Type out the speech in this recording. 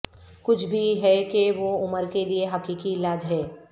کچھ بھی ہے کہ وہ عمر کے لئے حقیقی علاج ہے